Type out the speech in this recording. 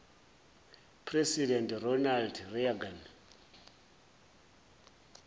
president ronald reagan